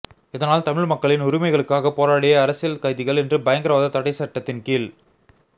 இதனால் தமிழ் மக்களின் உரிமைகளுக்காக போராடிய அரசியல் கைதிகள் இன்று பயங்கரவாத தடைச்சட்டத்தின் கீழ்